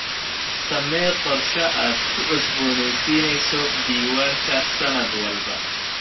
Samee qorshe aad ku cusboonaysiinayso diiwaanka sanad walba.